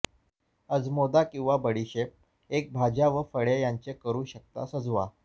अजमोदा किंवा बडीशेप एक भाज्या व फळे यांचे करू शकता सजवा